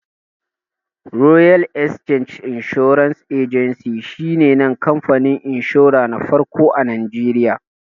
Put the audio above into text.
Royal Exchange Assurance Agency shi ne kamfanin inshura na farko a Najeriya